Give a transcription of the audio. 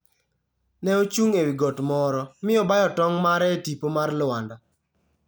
Ne ochung' e wi got moro, mi obayo tong' mare e tipo mar Lwanda.